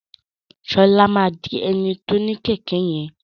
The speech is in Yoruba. Ṣọlá má dì eni to ní kẹkẹ yẹn